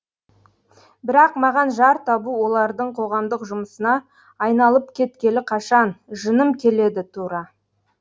бірақ маған жар табу олардың қоғамдық жұмысына айналып кеткелі қашан жыным келеді тура